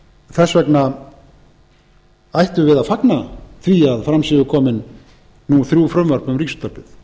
þess vegna ættum við að fagna því að fram séu komin nú þrjú frumvörp um ríkisútvarpið